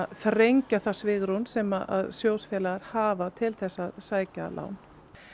þrengja það svigrúm sem sjóðsfélagar hafa til að sækja lán